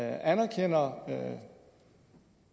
anerkender